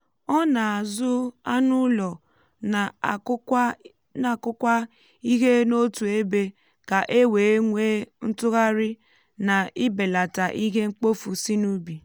ọ na-azụ um anụ ụlọ na-akụkwa ihe n'otu ebe ka e wee nwee ntụgharị na ibelata ihe mkpofu si n’ubi.